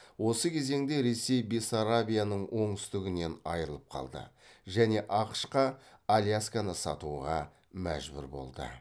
осы кезеңде ресей бессарабияның оңтүстігінен айырылып қалды және ақш қа алясканы сатуға мәжбүр болды